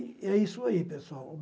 E é isso aí, pessoal.